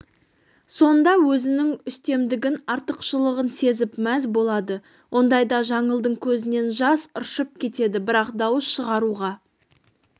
сонда өзінің үстемдігін артықшылығын сезіп мәз болады ондайда жаңылдың көзінен жас ыршып кетеді бірақ дауыс шығаруға